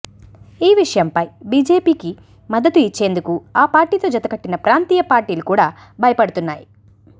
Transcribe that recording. ఈ విషయంపై బీజేపీకి మద్దతు ఇచ్చేందుకు ఆ పార్టీతో జత కట్టిన ప్రాంతీయ పార్టీలు కూడా భయపడుతున్నాయి